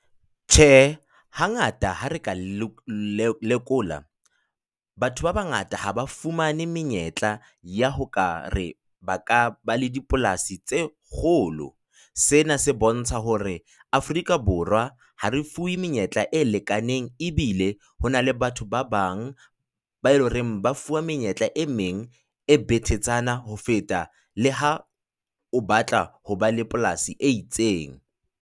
Tjhe, hangata ha re ka lekola batho ba bangata ha ba fumane menyetla ya ho ka re ba ka ba le dipolasi tse kgolo. Sena se bontsha hore Afrika Borwa ha re fuwe menyetla e lekaneng ebile ho na le batho ba bang bao e leng hore ba fuwa menyetla e meng e betetshana ho feta le ha o batla ho ba le polasi e itseng.